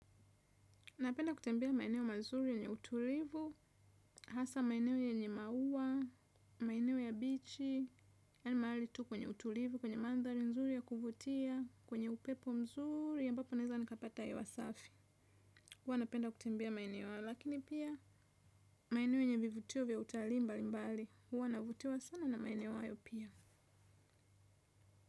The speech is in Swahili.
Napenda kutembea maeneo mazuri yenye utulivu, hasa maeneo yenye maua, maeneo ya bichi, ya ni maali tu kwenye utulivu, kwenye mandhali nzuri ya kuvutia, kwenye upepo mzuri, ya mbapo neza nikapata ya wasafi. Huwa napenda kutembea maeneo ya lakini pia, maeneo yenye vivutio vya utali mbali mbali. Huwa navutiwa sana maeneo hayo pia.